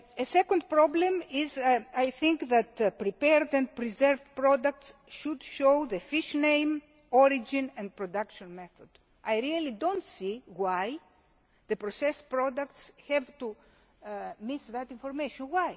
approach. Secondly, I think that prepared and preserved products should show the fish name, origin and production method. I really do not see why the processed products have to miss that information